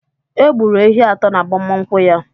E gburu ehi atọ n’agbamnkwu ya